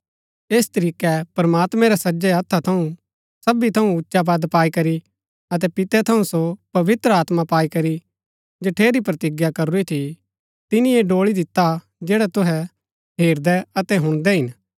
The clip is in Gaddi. ऐस तरीकै प्रमात्मैं रै सज्जै हत्था थऊँ सवी थऊँ उच्चा पद पाई करी अतै पिते थऊँ सो पवित्र आत्मा पाई करी जठेरी प्रतिज्ञा करूरी थी तिनी ऐह ड़ोळी दिता हा जैडा तुहै हेरदै अतै हुणदै हिन